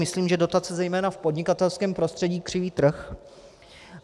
Myslím, že dotace zejména v podnikatelském prostředí křiví trh.